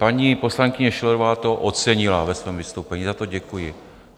Paní poslankyně Schillerová to ocenila ve svém vystoupení, za to děkuji.